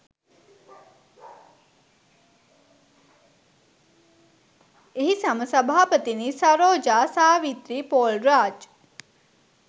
එහි සම සභාපතිනි සරෝජා සාවිත්‍රී පෝල්රාජ්